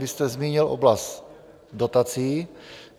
Vy jste zmínil oblast dotací.